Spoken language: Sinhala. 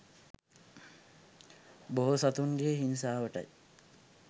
බොහෝ සතුනගේ හිංසාවටයි